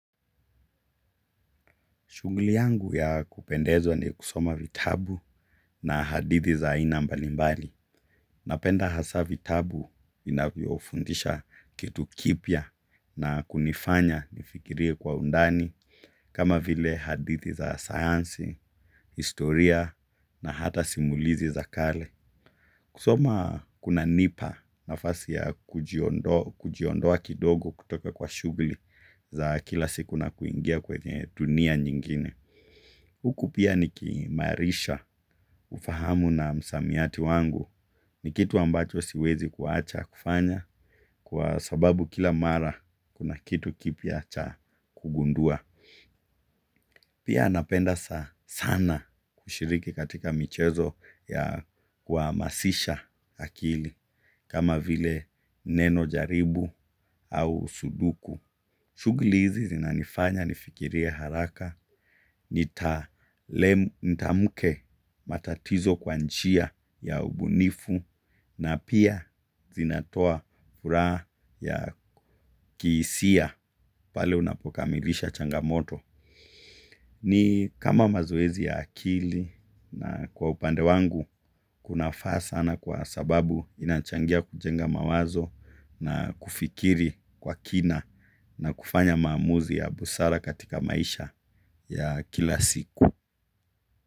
Shughuli yangu ya kupendezwa ni kusoma vitabu na hadithi za aina mbalimbali. Napenda hasa vitabu inavyofundisha kitu kipya na kunifanya nifikirie kwa undani kama vile hadithi za sayansi, historia na hata simulizi za kale. Kusoma kunanipa nafasi ya kujiondoa kujiondoa kidogo kutoka kwa shughuli za kila siku na kuingia kwenye dunia nyingine. Huku pia nikiimarisha ufahamu na msamiati wangu ni kitu ambacho siwezi kuacha kufanya kwa sababu kila mara kuna kitu kipya cha kugundua. Pia napenda sa sana kushiriki katika michezo ya kuhamasisha akili kama vile nenojaribu au suduku. Shughuli hizi zinanifanya nifikirie haraka, nitalem nitamke matatizo kwa njia ya ubunifu na pia zinatoa furaha ya kihisia pale unapokamilisha changamoto. Ni kama mazoezi ya akili na kwa upande wangu kunafaa sana kwa sababu inachangia kujenga mawazo na kufikiri kwa kina na kufanya maamuzi ya busara katika maisha ya kila siku.